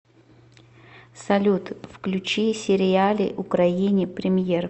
салют включи сериали украини премьер